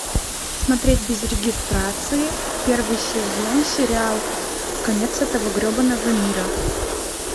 смотреть без регистрации первый сезон сериал конец этого гребаного мира